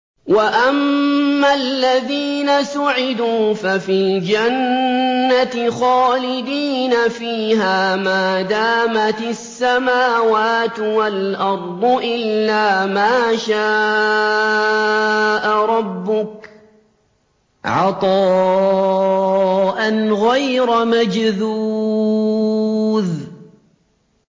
۞ وَأَمَّا الَّذِينَ سُعِدُوا فَفِي الْجَنَّةِ خَالِدِينَ فِيهَا مَا دَامَتِ السَّمَاوَاتُ وَالْأَرْضُ إِلَّا مَا شَاءَ رَبُّكَ ۖ عَطَاءً غَيْرَ مَجْذُوذٍ